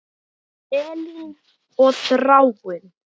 Elín og Þráinn.